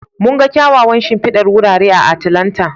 Mun ga kyawawan shimfidar wurare a Atlanta.